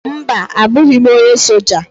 mba, abụghị m onye soja